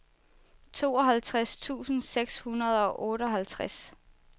tooghalvtreds tusind seks hundrede og otteoghalvtreds